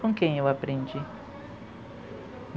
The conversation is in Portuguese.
Com quem eu aprendi?